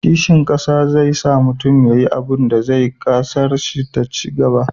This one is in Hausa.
kishin ƙasa zai sa mutum ya yi abunda zai sa ƙasar shi ta cigaba